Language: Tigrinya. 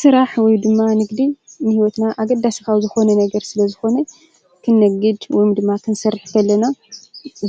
ስራሕ ወይድማ ንግዲ ንሂዎትና ኣገዳሲ ካብ ዝኮነ ነገር ስለ ዝኮነ ክነግድ ወይድማ ክንሰርሕ ከለና